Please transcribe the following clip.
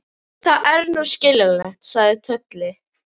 Það er nú skiljanlegt, sagði Tolli.